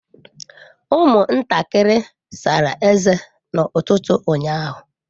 Ụmụntakịrị sara ezé n'ụtụtụ ụnyaahụ.